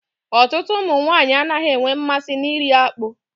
Ọtụtụ ụmụ nwaanyị anaghị enwe mmasị na iri akpụ.